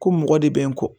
Ko mɔgɔ de bɛ n kɔ